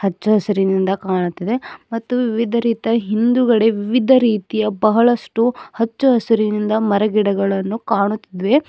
ಹಚ್ಚಾ ಹಸಿರಿನಿಂದ ಕಾಣುತ್ತಿದೆ ಮತ್ತು ವಿವಿಧ ರೀತಿಯ ಹಿಂದುಗಡೆ ವಿವಿಧ ರೀತಿಯ ಬಹಳಷ್ಟು ಹಚ್ಚು ಹಸಿರಿನಿಂದ ಮರಗಿಡಗಳನ್ನು ಕಾಣುತ್ತಿದೆ.